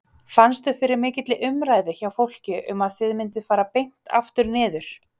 Fannstu fyrir mikilli umræðu hjá fólki um að þið mynduð fara beint aftur niður?